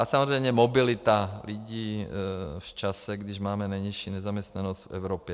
A samozřejmě mobilita lidí v čase, kdy máme nejnižší nezaměstnanost v Evropě.